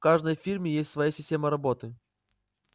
в каждой фирме есть своя система работы